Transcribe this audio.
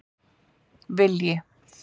Vilji